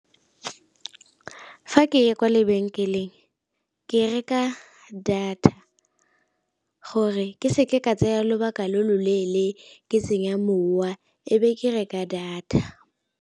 Fa ke ya kwa lebenkeleng ke reka data gore ke seke ka tsaya lobaka lo lo leele ke senya mowa ebe ke reka data.